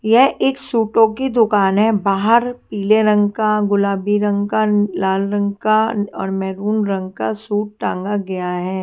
यह एक सूटों की दुकान है बाहर पीले रंग का गुलाबी रंग का लाल रंग का और मैरून रंग का सूट टांगा गया है।